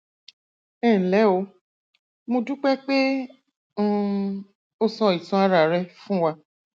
ẹnlẹ o mo dúpẹ pé um o sọ ìtàn ara rẹ fún wa